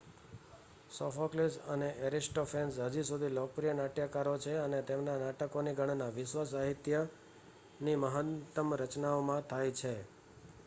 Sophocles અને Aristophanes હજી સુધી લોકપ્રિય નાટ્યકારો છે અને તેમના નાટકોની ગણના વિશ્વ સાહિત્યની મહાનતમ રચનાઓમાં થાય છે